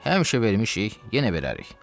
Həmişə vermişik, yenə verərik.